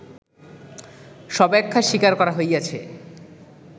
সব্যাখ্যা স্বীকার করা হইয়াছে